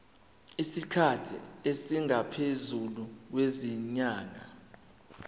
isikhathi esingaphezulu kwezinyanga